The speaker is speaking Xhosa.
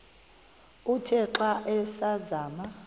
uthe xa asazama